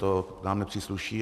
To nám nepřísluší.